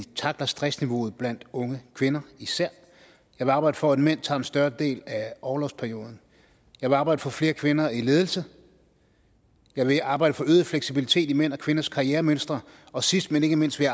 tackler stressniveauet blandt unge kvinder især jeg vil arbejde for at mænd tager en større del af orlovsperioden jeg vil arbejde for flere kvinder i ledelse jeg vil arbejde for øget fleksibilitet i mænd og kvinders karrieremønstre og sidst men ikke mindst vil